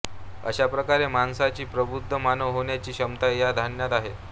अशाप्रकारे माणसाची प्रबुद्ध मानव होण्याची क्षमता या ध्यानात आहे